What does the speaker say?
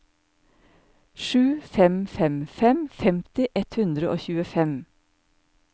sju fem fem fem femti ett hundre og tjuefem